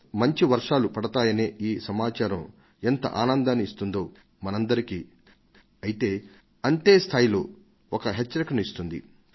మంచి వర్షాలు పడతాయనే ఈ సమాచారం ఎంత ఆనందాన్ని ఇస్తుందో మనందరికీ అంతే స్థాయిలో ఒక హెచ్చరికను కూడా ఇస్తుంది